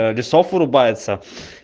лесов вырубается